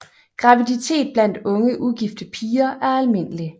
Graviditet blandt unge ugifte piger er almindelig